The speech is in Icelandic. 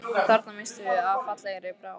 Þarna misstum við af fallegri bráð